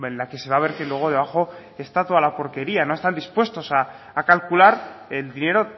la que se va a ver que luego debajo está toda la porquería no están dispuestos a calcular el dinero